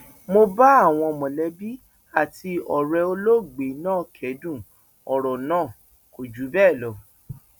mo bá àwọn mọlẹbí àti ọrẹ olóògbé náà kẹdùn ọrọ náà kò jù bẹẹ lọ